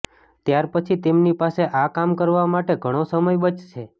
ત્યાર પછી તેમની પાસે આ કામ કરવા માટે ઘણો સમય બચશે